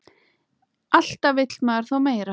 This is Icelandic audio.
Alltaf vill maður þó meira.